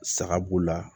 Saga b'u la